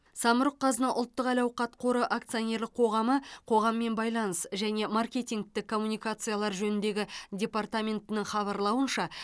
самұрық қазына ұлттық әл ауқат қоры акционерлік қоғамы қоғаммен байланыс және маркетингтік коммуникациялар жөніндегі департаментінің хабарлауынша